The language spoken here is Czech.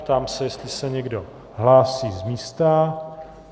Ptám se, jestli se někdo hlásí z místa.